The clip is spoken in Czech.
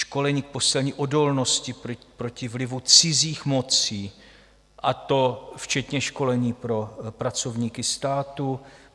Školení k posílení odolnosti proti vlivu cizích mocí, a to včetně školení pro pracovníky státu.